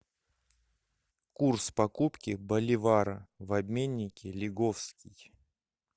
курс покупки боливара в обменнике лиговский